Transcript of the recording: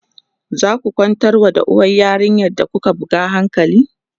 zaku kwantar wa uwar yarinyar da kuka buga hankali?